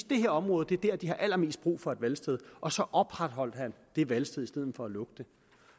det her område var der allermest brug for et valgsted og så opretholdt han det valgsted i stedet for at lukke det